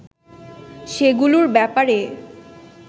সেগুলোর ব্যাপারে